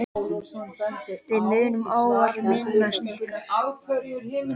Við munum ávallt minnast ykkar.